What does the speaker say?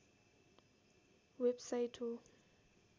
website हो